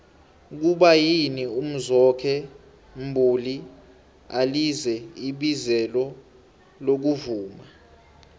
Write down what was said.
kuba yini umzwokhe mbuli alize ibizelo lokuvuma